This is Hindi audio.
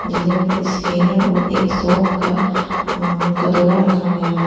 जिधर पर स्कैनर और एक शॉप का अ कटोरा रखा गया है।